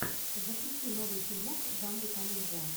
запусти новый фильмок в жанре комедия